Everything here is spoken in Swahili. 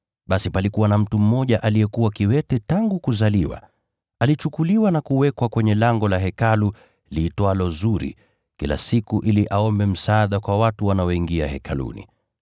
Basi palikuwa na mtu mmoja aliyekuwa kiwete tangu kuzaliwa. Alichukuliwa na kuwekwa kwenye lango la Hekalu liitwalo Zuri, kila siku ili aombe msaada kwa watu wanaoingia Hekaluni.